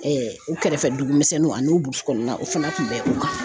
u kɛrɛfɛ dugumisɛnnin an n'o burusi kɔnɔna na o fana kun bɛ o kan